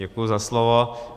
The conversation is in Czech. Děkuji za slovo.